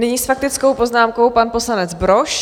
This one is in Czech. Nyní s faktickou poznámkou pan poslanec Brož.